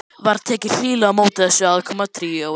Var tekið hlýlega á móti þessu aðkomna tríói.